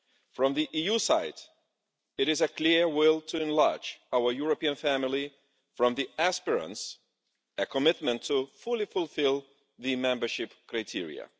From the EU side, it is a clear will to enlarge our European family, from the aspirants a commitment to fully fulfil the membership criteria.